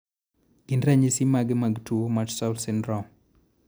Gin ranyisis mage mar tuo Martsolf syndrome?